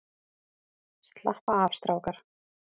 Slappa af strákar!